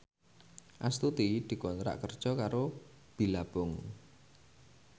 Astuti dikontrak kerja karo Billabong